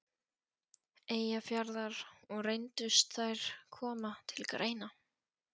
Eyjafjarðar, og reyndust þær koma til greina.